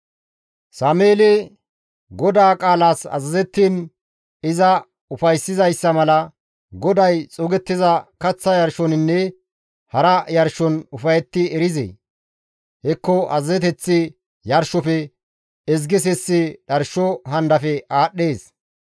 Sameeli, «GODAA qaalas azazettiin iza ufayssizayssa mala GODAY xuugettiza kaththa yarshoninne hara yarshon ufayetti erizee? Hekko azazeteththi yarshofe, ezgi sissi dharsho handafe aadhdhees.